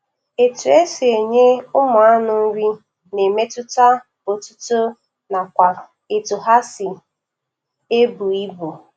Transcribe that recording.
Etu esi enye ụmụanụ nrị na-emetụta otito nakwa etu ha si ebu ibu